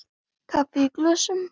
Kaffi í glösum.